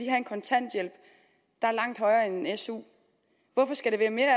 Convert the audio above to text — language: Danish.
en kontanthjælp der er langt højere end en su hvorfor skal det være mere